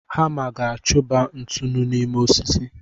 Hama ga-achụba ntụnụ n'ime osisi.